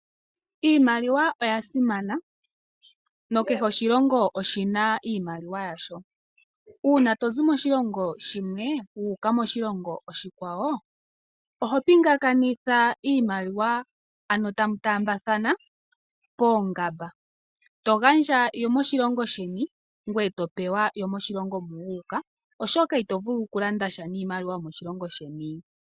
Iimaliwa oyasimana na kehe oshilongo oshina iimaliwa yasho. Una tozi moshilongo shimwe wu uka moshilongo oshikwawo oho pingakanitha iimaliwa ano tamu taambathana poongamba, togandja yomoshilongo sheni ngweye topewa yomoshilongo mu wu uka oshoka ito vulu okulanda sha niimaliwa yomoshilongo sheni.